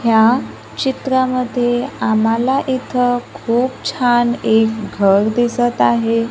ह्या चित्रामध्ये आम्हाला इथं खूप छान एक घर दिसत आहे.